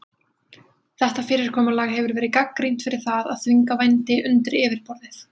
Þetta fyrirkomulag hefur verið gagnrýnt fyrir það að þvinga vændi undir yfirborðið.